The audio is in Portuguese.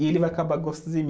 e ele vai acabar